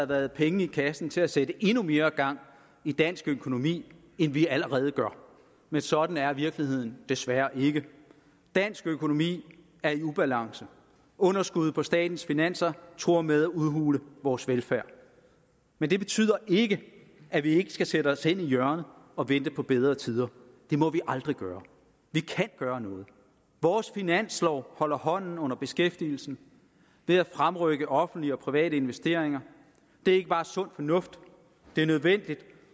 være penge i kassen til at sætte endnu mere gang i dansk økonomi end vi allerede gør men sådan er virkeligheden desværre ikke dansk økonomi er i ubalance underskuddet på statens finanser truer med at udhule vores velfærd men det betyder ikke at vi skal sætte os hen i hjørnet og vente på bedre tider det må vi aldrig gøre vi kan gøre noget vores finanslov holder hånden under beskæftigelsen ved at fremrykke offentlige og private investeringer det er ikke bare sund fornuft det er nødvendigt